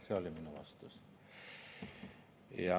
See oli minu vastus.